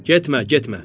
Getmə, getmə.